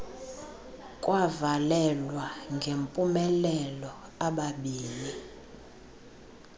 kwavalelwa ngempumelelo ababini